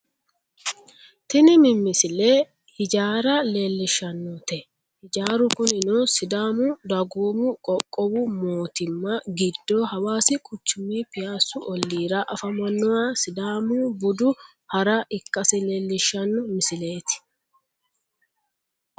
tini mmisile hijaara leellishshannote hijaaru kunino sidaamu dagoomu qoqqowu mootimma giddo hawaasi quchumi piyaassu olliira afamannoha sidaamu budu hara ikkasi leellishshanno misileeti